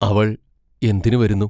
അവൾ എന്തിനു വരുന്നു?